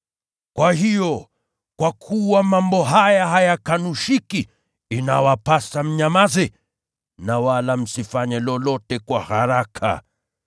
Kwa hiyo, kwa kuwa mambo haya hayakanushiki, inawapasa mnyamaze na wala msifanye lolote kwa haraka.